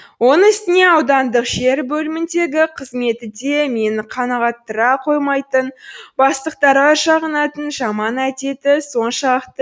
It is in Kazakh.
оның үстіне аудандық жер бөліміндегі қызметі де мені қанағаттандыра қоймайтын бастықтарға жағынатын жаман әдеті соншалықты